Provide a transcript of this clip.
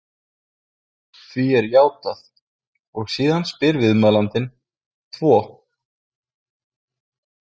Því er játað og síðan spyr viðmælandinn: Tvo?